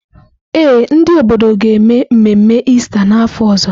Ee, ndị obodo ga-eme mmemme Ista n’afọ ọzọ.